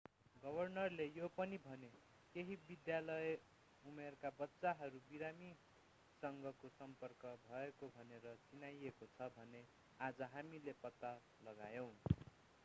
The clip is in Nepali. गभर्नरले यो पनि भने केही विद्यालय उमेरका बच्चाहरू बिरामीसँगको सम्पर्क भएको भनेर चिनाइएको छ भनेर आज हामीले पत्ता लगायौं